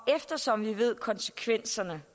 eftersom vi ved at konsekvenserne